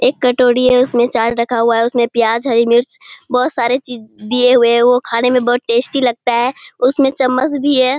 एक कटोरी है उसमें चाट रखा हुआ है उसमें प्याज हरी मिर्च बहोत सारे चीज दिए हुए हैं वो खाने में बोहोत टेस्टी लगता है उसमें चमच्च भी है।